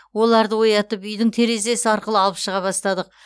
оларды оятып үйдің терезесі арқылы алып шыға бастадық